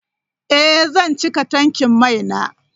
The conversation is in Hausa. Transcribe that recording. Ee, zan cika tankin mai na.